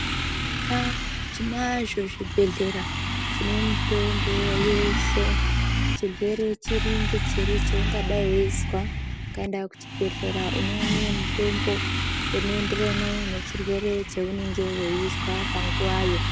Eya tinazvo zvibhedhlera zvine mitombo yeshe chirwere chiri ngechiri chaungadai veizwa. Ukaenda kuchibhedhlera unoone mutombo unoenderane nechirwere cheunenge veizwa panguwayo.